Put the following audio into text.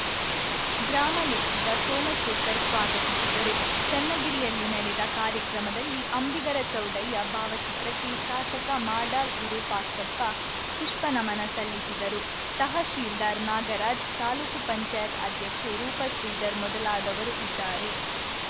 ಗ್ರಾಮಲೆಕ್ಕಿಗ ಸೋಮಶೇಖರ್‌ ಸ್ವಾಗತಿಸಿದರು ಚನ್ನಗಿರಿಯಲ್ಲಿ ನಡೆದ ಕಾರ್ಯಕ್ರಮದಲ್ಲಿ ಅಂಬಿಗರ ಚೌಡಯ್ಯ ಭಾವಚಿತ್ರಕ್ಕೆ ಶಾಸಕ ಮಾಡಾಳ್‌ ವಿರೂಪಾಕ್ಷಪ್ಪ ಪುಪ್ಪ ನಮನ ಸಲ್ಲಿಸಿದರು ತಹಶೀಲ್ದಾರ್‌ ನಾಗರಾಜ್‌ ತಾಲೂಕ್ ಪಂಚಾಯತ್ ಅಧ್ಯಕ್ಷೆ ರೂಪಶ್ರೀಧರ್‌ ಮೊದಲಾದವರು ಇದ್ದಾರೆ